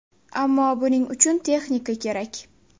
Ammo buning uchun texnika kerak.